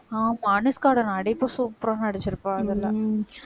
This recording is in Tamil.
ஆமா அனுஷ்காவோட நடிப்பு super ஆ நடிச்சிருப்பா அதுல